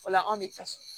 O la anw bɛ taa so